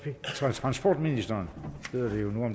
transportministeren